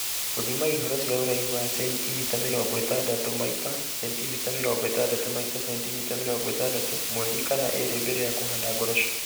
Gũthima ihoro cia ũraihu wa 60cm x 60cm x 60cm mweri kana ĩĩrĩ mbere ya kũhanda ngoroco